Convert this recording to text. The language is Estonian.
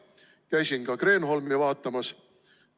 Käisin ka Kreenholmi vaatamas.